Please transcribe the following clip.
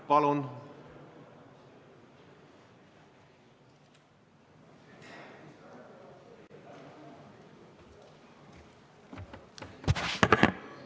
Palun!